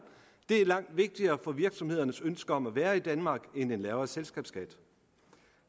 er langt vigtigere for virksomhedernes ønske om at være i danmark end en lavere selskabsskat